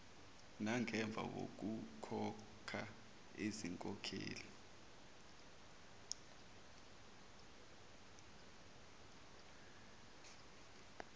nangemva kokukhokha izinkokhelo